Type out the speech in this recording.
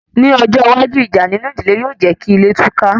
Ní ọjọ́ iwájú, ìjà nínú ìdílé yóò jékí ilé túká